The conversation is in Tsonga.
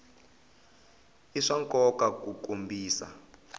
i swa nkoka ku kombisa